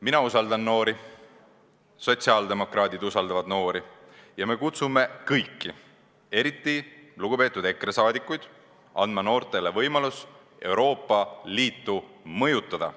Mina usaldan noori, sotsiaaldemokraadid usaldavad noori ja me kutsume üles kõiki, eriti lugupeetud EKRE liikmeid, andma noortele võimalust Euroopa Liitu mõjutada.